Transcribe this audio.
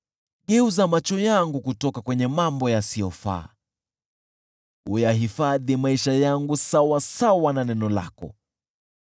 Geuza macho yangu kutoka kwenye mambo yasiyofaa, uyahifadhi maisha yangu sawasawa na neno lako.